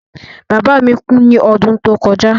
Bàbá mi kú ní odún tó kojá